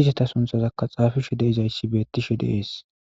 izetha sunthazakka tsaafishe de7izayssi beeththishe de7ees.